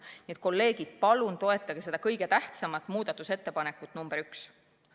Nii et kolleegid, palun toetage seda kõige tähtsamat muudatusettepanekut nr 1!